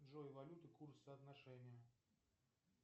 джой валюта курс соотношение